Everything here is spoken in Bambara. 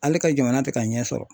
Ale ka jamana te ka ɲɛ sɔrɔ